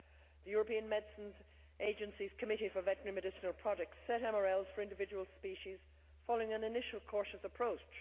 The European Medicines Agency's Committee for Veterinary Medicinal Products sets MRLs for individual species, following an initial cautious approach.